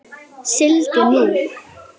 Sigldu nú.